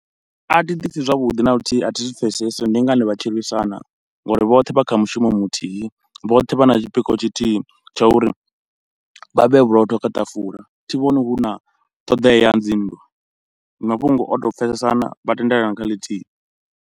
A thi ḓipfhi zwavhuḓi na luthihi, a thi zwi pfhesesi ndi ngani vha lwisana ngauri vhoṱhe vha kha mushumo muthihi, vhoṱhe vha na tshipikwa tshithihi tsha uri vha vhee vhurotho kha ṱafula, thi vhoni hu na ṱhoḓeya ya dzi nndwa. Ndi mafhungo o to pfesesana vha tendelana kha ḽithihi.